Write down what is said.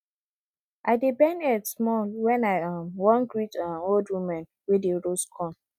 i dey bend head small when i um wan greet um old women wey dey roast corn